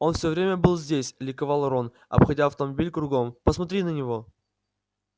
он всё время был здесь ликовал рон обходя автомобиль кругом посмотри на него